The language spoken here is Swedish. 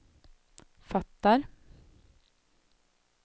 fattar